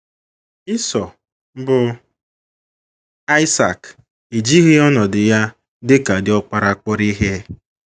Isọ, bụ́ Aịsak, ejighị ọnọdụ ya dị ka diọkpara kpọrọ ihe.